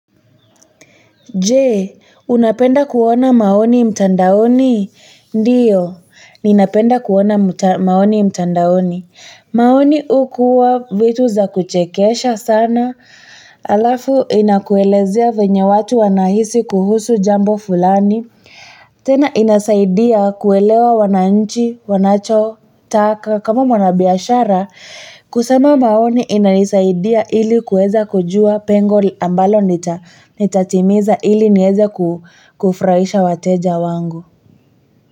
Jee, unapenda kuona maoni mtandaoni? Ndiyo, ninapenda kuona maoni mtandaoni. Maoni hukuwa vitu za kuchekesha sana, alafu inakuelezea venye watu wanahisi kuhusu jambo fulani. Tena inasaidia kuelewa wananchi, wanachotaka, kama mwanabiashara. Kusoma maoni inanisaidia ili kuweza kujua pengoli ambalo nitatimiza ili niweze kufuraisha wateja wangu.